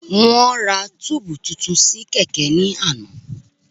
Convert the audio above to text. Wọ́n ra tíìbù tuntun sí kẹ̀kẹ́ ni lánàá